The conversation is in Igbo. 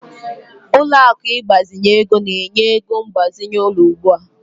Ụlọ akụ ịgbazinye ego na-enye ego mgbazinye ụlọ ugbu a.